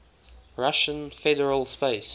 russian federal space